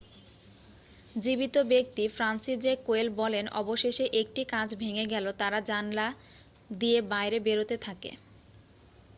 "জীবিত ব্যক্তি Franciszek Kowal বলেন "অবশেষে 1টি কাঁচ ভেঙে গেলে তারা জানলা দিয়ে বাইরে বেরোতে থাকে।"